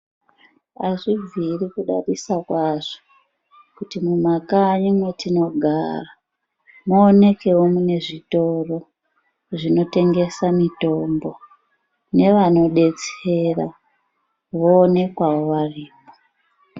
Azvibviri kudadisa kwazvo kuti mumakanyi matinogara maonekawo mune zvitoro zvinotengesa mitombo nevanodetsera voonekwawo varimo.